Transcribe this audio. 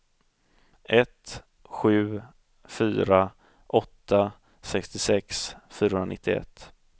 ett sju fyra åtta sextiosex fyrahundranittioett